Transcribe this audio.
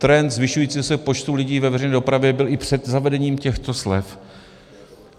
Trend zvyšujícího se počtu lidí ve veřejné dopravě byl i před zavedením těchto slev.